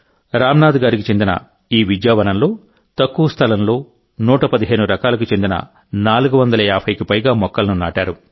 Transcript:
రాంనాథ్ గారికి చెందిన ఈ విద్యావనంలో తక్కువ స్థలంలో 115 రకాలకు చెందిన 450కి పైగా మొక్కలను నాటారు